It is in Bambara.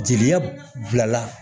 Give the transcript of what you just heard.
Jeli bilala